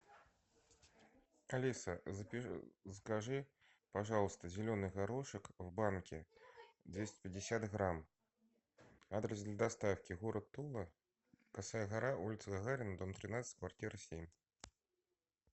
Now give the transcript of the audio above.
алиса закажи пожалуйста зеленый горошек в банке двести пятьдесят грамм адрес для доставки город тула косая гора улица гагарина дом тринадцать квартира семь